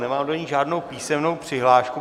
Nemám do ní žádnou písemnou přihlášku.